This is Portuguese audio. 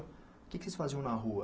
O que é que vocês faziam na rua?